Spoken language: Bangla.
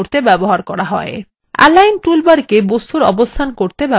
এলাইন toolbar the বস্তুর অবস্থান করতে ব্যবহার করা হয়